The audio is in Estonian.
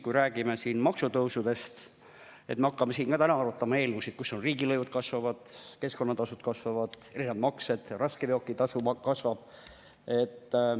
Me räägime siin maksutõusudest, me hakkame ka täna arutama eelnõusid, mille kohaselt riigilõivud kasvavad, keskkonnatasud kasvavad, erinevad maksed kasvavad, raskeveokitasu kasvab.